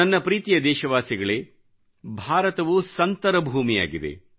ನನ್ನ ಪ್ರೀತಿಯ ದೇಶವಾಸಿಗಳೇ ಭಾರತವು ಸಂತರ ಭೂಮಿಯಾಗಿದೆ